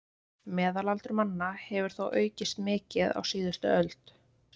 Meðalaldur manna hefur þó aukist mikið á síðustu öld.